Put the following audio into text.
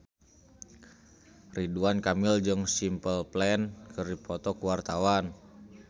Ridwan Kamil jeung Simple Plan keur dipoto ku wartawan